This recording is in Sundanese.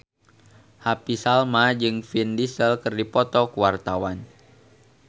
Happy Salma jeung Vin Diesel keur dipoto ku wartawan